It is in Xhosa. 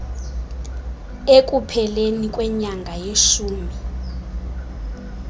ekupheleni kwenyanga yeshumi